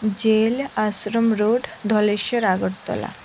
Jail Ashram road Dhaleshwar Agartala.